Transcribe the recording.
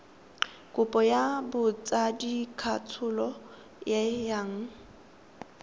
kopo ya botsadikatsholo e yang